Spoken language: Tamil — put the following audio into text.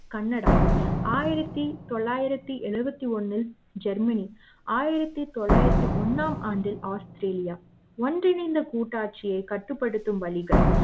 கனடா ஆயிரத்து தொள்ளாயிறத்து எழுபத்தி ஒன்னு ஜெர்மனி ஆயிரத்து தொள்ளாயிரத்து ஒன்னு ஆம் ஆண்டு ஆஸ்திரேலியா ஒன்றிணைந்த கூட்டாட்சியை கட்டுப்படுத்தும் வழிகள்